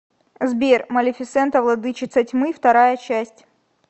сбер малефисента владычица тьмы вторая часть